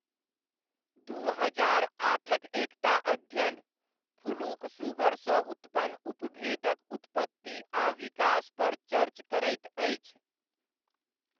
दू हजार आठक एकटा अध्ययन, फ्लूक सुगरसँ उत्पन्न उपभेदक उत्पत्ति आ विकास पर चर्च करैत अछि।